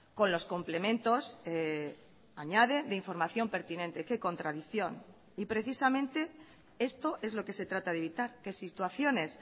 con los complementos añade de información pertinente qué contradicción y precisamente esto es lo que se trata de evitar que situaciones